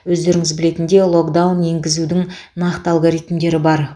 себебі өздеріңіз білетіндей локдаун енгізудің нақты алгоритмдері бар